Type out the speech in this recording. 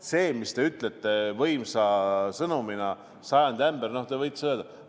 See, mis te ütlete võimsa sõnumina – sajandi ämber –, te võite seda öelda.